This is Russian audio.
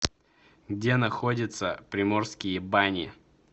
где находится приморские бани